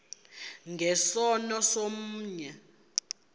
nge sono somnye